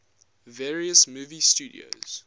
various movie studios